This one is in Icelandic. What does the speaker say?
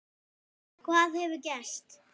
Hvað hefur gerst?